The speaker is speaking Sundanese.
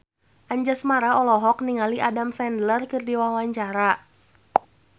Anjasmara olohok ningali Adam Sandler keur diwawancara